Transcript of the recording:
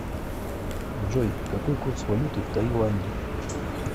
джой какой курс валюты в таиланде